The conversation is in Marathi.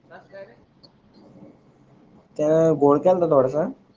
त्या का थोडसा.